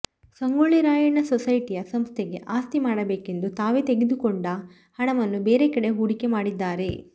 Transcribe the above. ಸಂಗೋಳ್ಳಿ ರಾಯಣ್ಣ ಸೊಸೈಟಿಯ ಸಂಸ್ಥೆಗೆ ಆಸ್ತಿ ಮಾಡಬೇಕೆಂದು ತಾವೆ ತೆಗೆದುಕೊಂಡು ಹಣವನ್ನು ಬೇರೆಕಡೆ ಹೂಡಿಕೆ ಮಾಡಿದ್ದಾರೆ